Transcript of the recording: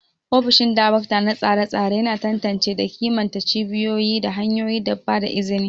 Ofishin Darakta na tsare-tsare yana tantance da kimanta cibiyoyi da hanyoyin ba da izini.